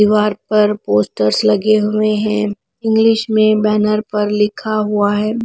दीवार पर पोस्टर्स लगे हुए हैं इंग्लिश में बैनर पर लिखा हुआ है।